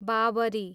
Babri